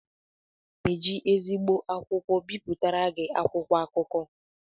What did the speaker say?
Aga m eji ezigbo akwụkwọ bipụtara gị akwụkwọ akụkọ